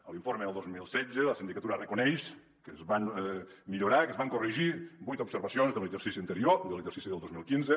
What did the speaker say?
a l’informe del dos mil setze la sindicatura reconeix que es van millorar i que es van corregir vuit observacions de l’exercici anterior de l’exercici del dos mil quinze